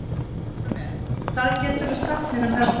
Salome, hvað geturðu sagt mér um veðrið?